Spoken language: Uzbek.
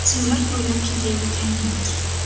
Biz yo‘lak bo‘ylab ketayotgan edik.